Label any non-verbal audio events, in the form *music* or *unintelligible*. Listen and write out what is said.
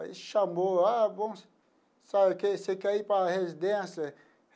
Aí chamou, ah, vamos *unintelligible* você quer ir para a residência?